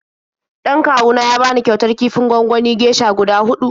Dan kawu na ya bani kyautar kifin gwanganin geisha guda huɗu.